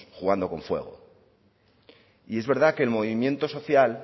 jugando con fuego y es verdad que el movimiento social